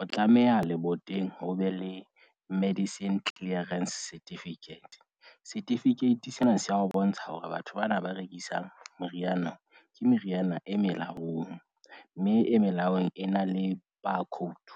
o tlameha leboteng ho be le medicine clearance certificate. Certificate sena se a ho bontsha hore batho bana ba rekisang meriana ke meriana e melaong, mme e melaong e na le barcode.